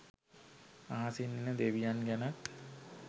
අහසින් එන දෙවියන් ගැනත්